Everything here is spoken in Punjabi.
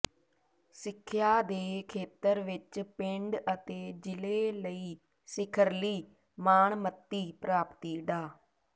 ਸਿੱਖਿਆ ਦੇ ਖੇਤਰ ਵਿੱਚ ਪਿੰਡ ਅਤੇ ਜ਼ਿਲ੍ਹੇ ਲਈ ਸਿਖਰਲੀ ਮਾਣਮੱਤੀ ਪ੍ਰਾਪਤੀ ਡਾ